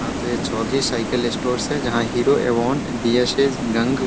हाँ तो ये चौधरी साइकिल स्टोर्स है जहाँ हीरो एवोन --